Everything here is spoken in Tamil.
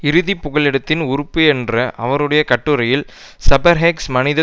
இறுதி புகலிடத்தின் உறுப்பு என்ற அவருடைய கட்டுரையில் செபர்ஹேக்ஸ் மனித